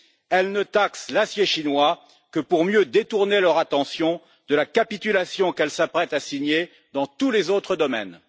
Elle ne taxe l'acier chinois que pour mieux détourner leur attention de la capitulation qu'elle s'apprête à signer dans tous les autres domaines.